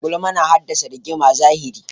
Gulma na haddasa rigimar zahiri.